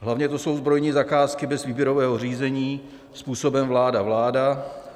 Hlavně to jsou zbrojní zakázky bez výběrového řízení způsobem vláda - vláda.